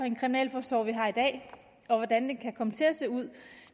en kriminalforsorg vi har i dag og hvordan den kan komme til at se ud